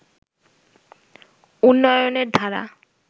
উন্নয়নের ধারা